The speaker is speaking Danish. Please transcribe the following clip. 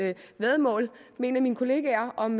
væddemål med en af mine kollegaer om